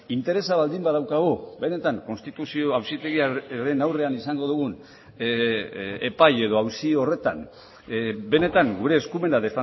interesa baldin badaukagu benetan konstituzio auzitegiaren aurrean izango dugun epai edo auzi horretan benetan gure eskumena